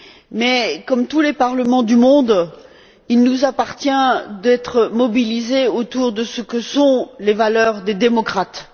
Mais, comme tous les parlements du monde, il nous appartient d'être mobilisés autour de ce que sont les valeurs des démocrates.